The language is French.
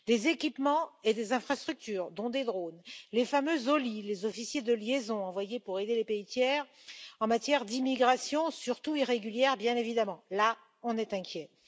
les équipements et infrastructures, dont des drones les fameux OLI, les officiers de liaison, envoyés pour aider les pays tiers en matière d'immigration, surtout irrégulière, bien évidemment là, c'est inquiétant